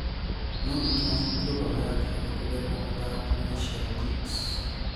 Norwich mabungiirwo bao ya kiri kugerera mũthaki Mitchell Djiks